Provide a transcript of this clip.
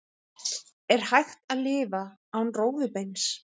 Er hægt að lifa án rófubeins?